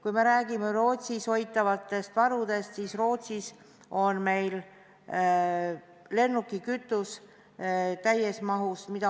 Kui me räägime Rootsis hoitavatest varudest, siis Rootsis on lennukikütus täies mahus.